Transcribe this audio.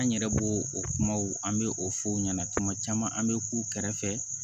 An yɛrɛ b'o o kumaw an bɛ o fɔ o ɲɛna tuma caman an bɛ k'u kɛrɛfɛ